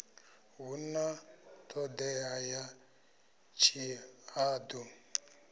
hu na ṱhodea ya tshihaḓu